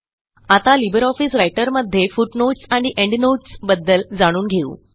आता libre office रायटरमध्ये footnotes आणि एंडनोट्स बद्दल जाणून घेऊ